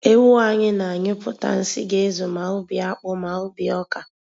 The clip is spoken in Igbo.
Ewu anyị na-anyuịpụta nsị ga-ezu ma ubi akpụ ma ubi ọka.